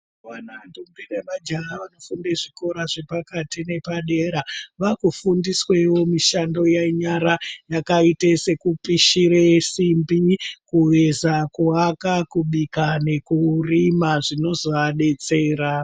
Kuona ndombi nemajaha vanofunde zvikora zvepakati nepadera vakufundiswewo mushando yenyara yakaite sekupishire simbi kuveza kuaka Kubika nekurima zvinozoadetsera.